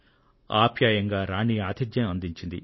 ఆప్యాయంగా రాణి గారు ఆతిథ్యం అందించారు